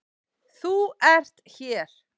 ÞÚ ERT hér.